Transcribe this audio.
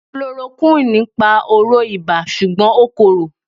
Kulorokúwìnì ń pa oró ibà ṣùgbọ́n ó korò.